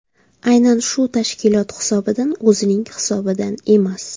Aynan shu tashkilot hisobidan, o‘zining hisobidan emas .